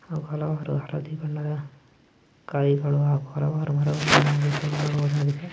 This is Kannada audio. ಹಲವಾರು ಹಳದಿ ಬಣ್ಣದ ಕಾಯಿಗಳು ಹಾಗು ಹಲವಾರು .